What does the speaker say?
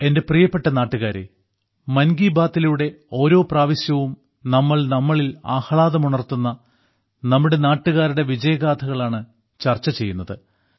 എന്റെ പ്രിയപ്പെട്ട നാട്ടുകാരേ മൻ കീ ബാത്തിലൂടെ ഓരോ പ്രാവശ്യവും നമ്മൾ നമ്മളിൽ ആഹ്ലാദമുണർത്തുന്ന നമ്മുടെ നാട്ടുകാരുടെ വിജയഗാഥകൾ ആണ് ചർച്ച ചെയ്യുന്നത്